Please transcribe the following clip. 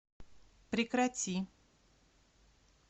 прекрати